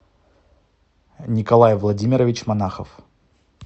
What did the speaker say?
николай владимирович монахов